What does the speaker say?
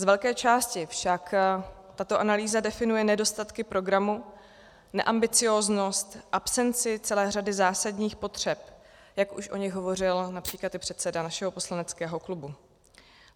Z velké části však tato analýza definuje nedostatky programu, neambicióznost, absenci celé řady zásadních potřeb, jak už o nich hovořil například i předseda našeho poslaneckého klubu.